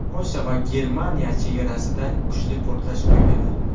Polsha va Germaniya chegarasida kuchli portlash ro‘y berdi.